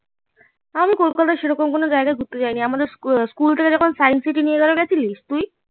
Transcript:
আমি কলকাতার সেরকম কোনো জাগায় ঘুরতে যায়নি আমাদের স্কুল থেকে স্কুল থেকে যখন সাইন্স সিটি নিয়ে গেলো গেছিলিস তুই?